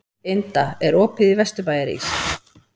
Inda, er opið í Vesturbæjarís?